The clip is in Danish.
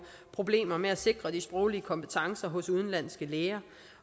problemer med at sikre de sproglige kompetencer hos udenlandske læger